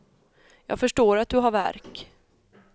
Jag förstår att du har värk.